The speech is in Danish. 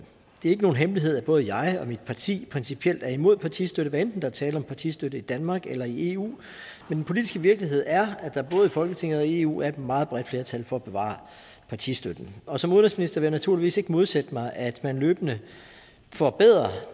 er ikke nogen hemmelighed at både jeg og mit parti principielt er imod partistøtte hvad enten der er tale om partistøtte i danmark eller i eu men den politiske virkelighed er at der både i folketinget og i eu er et meget bredt flertal for at bevare partistøtten og som udenrigsminister vil jeg naturligvis ikke modsætte mig at man løbende forbedrer